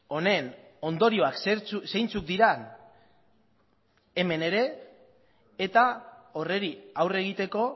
honen ondorioak zeintzuk diren hemen ere eta horri aurre egiteko